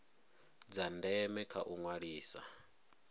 dza ndeme kha u ṅwalisa